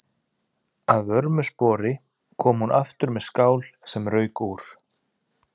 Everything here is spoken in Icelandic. Að vörmu spori kom hún aftur með skál sem rauk úr.